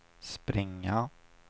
springa